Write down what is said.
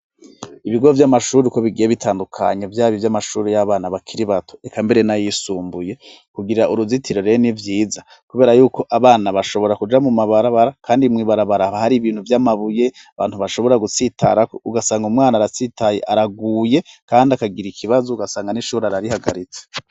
Ibigo vy'amashuri uko bigiye bitandukanye vyaba ivy'amashuri y'abana bakiri bato eka mbere n'ayisumbuye, kugira uruzitiro ni vyiza kubera yuko abana bashobora kuja mu mabarabara kandi mw'ibarabaraba hari ibintu vy'amabuye abantu bashobora gusitarako, ugasanga umwana aratsitaye araguye, kandi akagira ikibazo ugasanga n'ishuri ararihagaritse.